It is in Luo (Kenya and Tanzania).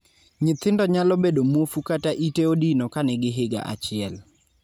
nyithindo nyalo bedo muofu kata ite odino kanigi higa achiel